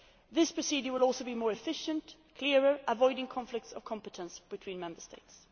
This procedure will also be more efficient and clearer, avoiding conflicts of competence between Member States.